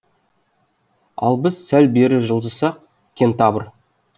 ал біз сәл бері жылжысақ кентавр